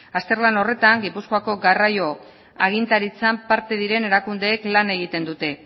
azterlan horretan gipuzkoako garraio agintaritzan parte diren erakundeek lan egiten dute